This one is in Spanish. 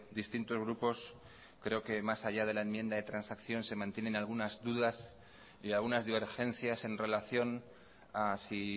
distintos grupos creo que más allá de la enmienda de transacción se mantienen algunas dudas y algunas divergencias en relación a si